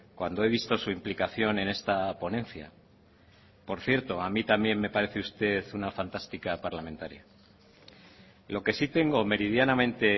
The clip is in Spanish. cuando he visto su implicación en esta ponencia por cierto a mí también me parece usted una fantástica parlamentaria lo que sí tengo meridianamente